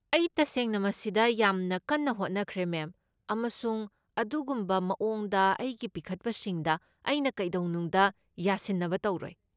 ꯑꯩ ꯇꯁꯦꯡꯅ ꯃꯁꯤꯗ ꯌꯥꯝꯅ ꯀꯟꯅ ꯍꯣꯠꯅꯈ꯭ꯔꯦ, ꯃꯦꯝ, ꯑꯃꯁꯨꯡ ꯑꯗꯨꯒꯨꯝꯕ ꯃꯑꯣꯡꯗ ꯑꯩꯒꯤ ꯄꯤꯈꯠꯄꯁꯤꯡꯗ ꯑꯩꯅ ꯀꯩꯗꯧꯅꯨꯡꯗ ꯌꯥꯁꯤꯟꯅꯕ ꯇꯧꯔꯣꯏ꯫